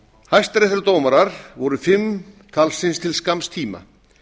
hæstaréttardómarar voru fimm talsins til skamms tíma